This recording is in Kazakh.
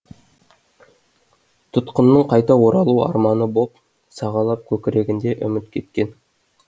тұтқынның қайта оралу арманы боп сығалап көкірегінде үміт кеткен